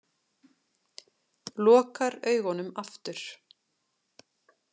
Lokar augunum aftur.